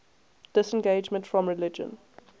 disengagement from religion